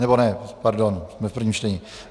Nebo ne, pardon - jsme v prvním čtení.